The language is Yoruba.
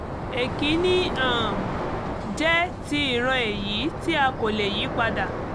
èkínní um jẹ́ ti ìran èyí tí a kò lè yí padà